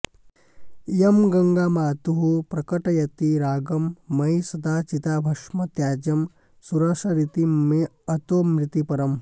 इयं गङ्गा मातुः प्रकटयति रागं मयि सदा चिताभस्म त्याज्यं सुरसरिति मेऽतो मृतिपरम्